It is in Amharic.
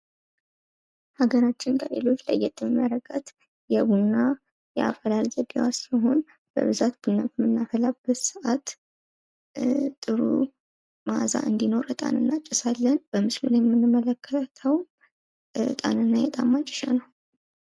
ሃገራችን ከሌሎች ለየት የሚያደርጋት የቡና የአፈላል ዘዴዋ ሲሆን ይኸውም ቡና በምናፈላበት ጊዜ መልካም መኣዛ እንዲኖር የእጣንና ሌሎች ጭሶችን እናጨሳለን። በምስሉ ላይ የምናየውም የጭስ ማጨሻ እቃ ነው ።